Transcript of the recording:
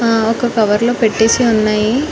హా వక కవర్ లో పెట్టేసి ఉన్నాయి